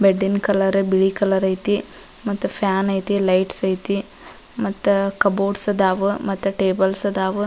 ಬೆಡ್ಡಿನ್ colour ಬಿಳಿ colour ಐತಿ ಮತ್ತ್ ಫ್ಯಾನ್ ಐತಿ ಲೈಟ್ಸ ಐತಿ ಮತ್ತ ಕಬೋರ್ಡ್ಸ್ ಅದಾವು ಮತ್ತ ಟೇಬಲ್ಸ್ ಅದಾವು .